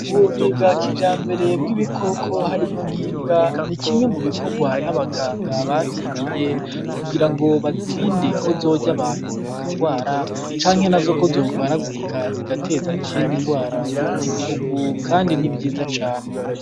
Ubuvuzi bwa kijambere bw'ibikoko harimwo nk'imbwa nikimwe mubikorwa n'abaganga bavyigiye kugirango bizirinde ko zorya abantu bakarwara, canke nazo ko zorwaragurika zigateza izindi ngwara mubanyanyigihugu kandi nivyiza cane .